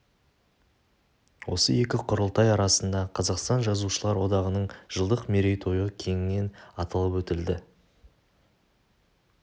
осы екі құрылтай арасында қазақстан жазушылар одағының жылдық меретойы кеңінен аталып өтілді